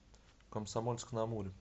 комсомольск на амуре